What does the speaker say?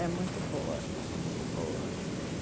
É muito boa, muito boa.